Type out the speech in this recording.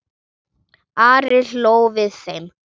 Ari hló við þeim.